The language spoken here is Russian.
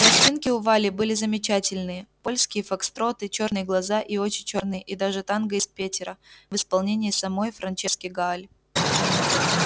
пластинки у вали были замечательные польские фокстроты чёрные глаза и очи чёрные и даже танго из петера в исполнении самой франчески гааль